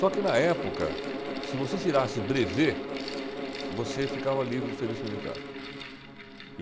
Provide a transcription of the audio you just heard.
Só que na época, se você tirasse brevê, você ficava livre do serviço militar.